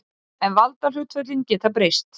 En valdahlutföllin geta breyst.